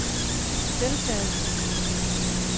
deltaget